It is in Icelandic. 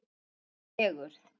Þvílík fegurð!